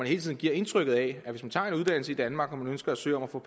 hele tiden giver indtrykket af at hvis man tager en uddannelse i danmark og man ønsker at søge om at få